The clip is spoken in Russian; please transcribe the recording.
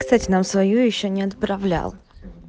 кстати нам свою ещё не отправлял